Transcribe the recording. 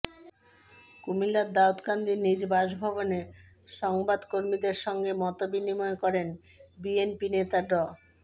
কুমিল্লার দাউদকান্দি নিজ বাসভবনে সংবাদকর্মীদের সঙ্গে মতবিনিময় করেন বিএনপি নেতা ড